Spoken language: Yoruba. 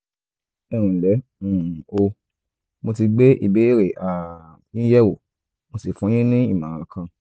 ẹ nlẹ́ um o mo ti gbé ìbéèrè um yín yẹ̀wò mo sì fún yín ní ìmọ̀ràn kan